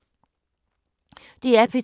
DR P2